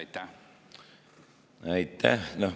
Aitäh!